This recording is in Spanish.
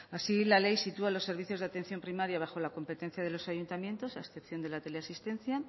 así la ley sitúa a los servicios de atención primaria bajo la competencia de los ayuntamientos a excepción de la teleasistencia